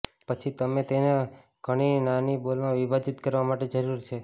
પછી તમે તેને ઘણી નાની બોલમાં વિભાજીત કરવા માટે જરૂર છે